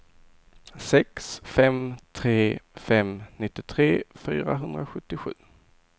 sex fem tre fem nittiotre fyrahundrasjuttiosju